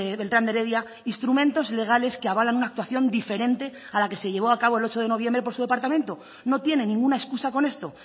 beltrán de heredia instrumentos legales que avalan una actuación diferente a la que se llevó a cabo el ocho de noviembre por su departamento no tiene ninguna excusa con esto